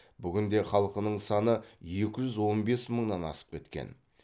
бүгінде халқының саны екі жүз он бес мыңнан асып кеткен